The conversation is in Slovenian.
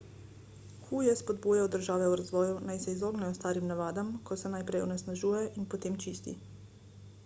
hu je spodbujal države v razvoju naj se izognejo starim navadam ko se najprej onesnažuje in potem čisti